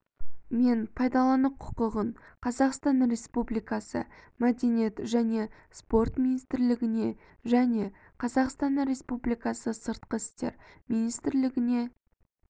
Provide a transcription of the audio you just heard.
мен пайдалану құқығын қазақстан республикасы мәдениет және спорт министрлігіне және қазақстан республикасы сыртқы істер министрлігіне